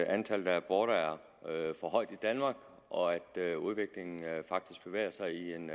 at antallet af aborter er for højt i danmark og at udviklingen faktisk bevæger sig i en